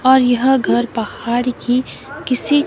और यह घर पहाड़ की किसी--